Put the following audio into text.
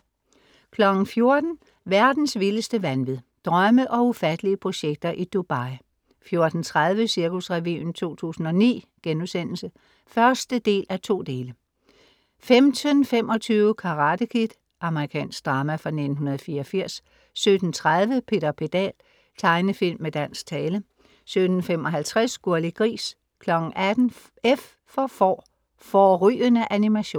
14:00 Verdens vildeste vanvid. Drømme og ufattelige projekter i Dubai 14:30 Cirkusrevyen 2009* (1:2) 15:25 Karate Kid. Amerikansk drama fra 1984 17:30 Peter Pedal.Tegnefilm med dansk tale 17:55 Gurli Gris 18:00 F for får. Fårrygende animation